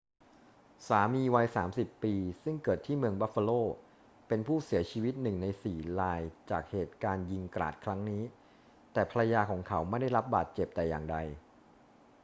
สามีวัย 30 ปี ซึ่งเกิดที่เมืองบัฟฟาโล เป็นผู้เสียชีวิตหนึ่งในสี่รายจากเหตุการณ์ยิงกราดครั้งนี้ แต่ภรรยาของเขาไม่ได้รับบาดเจ็บแต่อย่างใด